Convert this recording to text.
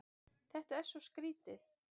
Þetta er svo skrýtið.